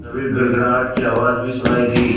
तभी गड़गड़ाहट की आवाज़ भी सुनाई दी